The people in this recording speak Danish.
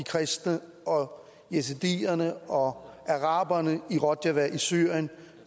kristne og yazidierne og araberne i rojava i syrien